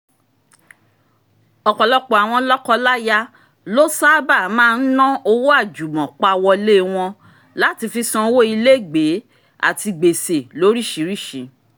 ọ̀pọ̀lọpọ̀ àwọn lọ́kọ-láya ló sáábà máa ń ná owó àjùmọ̀pawọlé wọn láti fi sanwó ilégbèé àti gbèsè lóríṣiríṣi